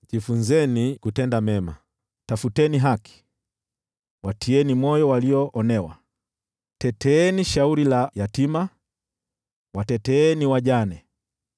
jifunzeni kutenda mema! Tafuteni haki, watieni moyo walioonewa. Teteeni shauri la yatima, wateteeni wajane.